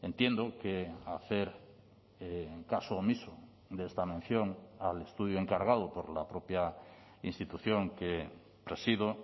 entiendo que hacer caso omiso de esta mención al estudio encargado por la propia institución que presido